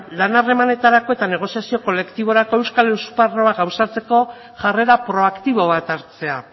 lan harremanetarako eta negoziazio kolektiborako euskal esparru gauzatzeko jarrera proaktibo bat hartzea